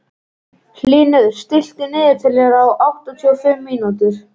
Hlynur, stilltu niðurteljara á áttatíu og fimm mínútur.